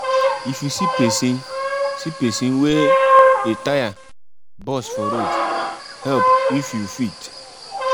if you see pesin see pesin wey e tire burst for road help if you fit.